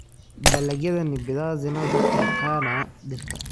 Dalagyada ni bidhaa zinazotokana na dhirta.